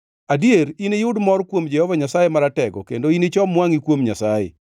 Adier, iniyud mor kuom Jehova Nyasaye Maratego kendo inichom wangʼi kuom Nyasaye.